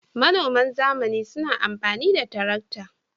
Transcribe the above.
Manoman zamani suna amfani da tarakta.